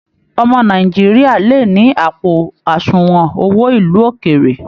Ọmọ Nàìjíríà le ni àpò àsùnwọ̀n owó ilú òkéré.